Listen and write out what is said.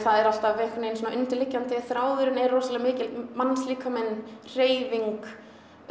er alltaf einhvern veginn svona undirliggjandi þráðurinn er rosalega mikið mannslíkaminn hreyfing